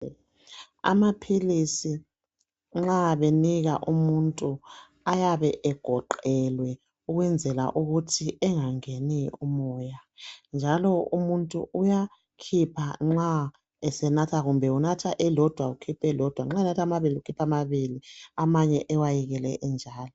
Amaphilisi nxa benika umuntu ayabe egoqelwe ukwenzela ukuthi engangeni umoya njalo umuntu uyakhipha nxa esenatha kumbe unatha elilodwa ukhipha elilodwa. Nxa enatha amabili ukhipha amabili amanye ewayekele enjalo.